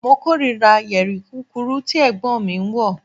Mo korira yeri kukuru ti Ẹ̀gbọ́n mi wọ